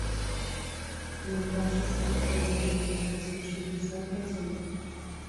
на два часа выставить яркость на шестьдесят процентов